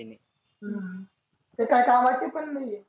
हम्म ते काही कामाची पण नाहीए.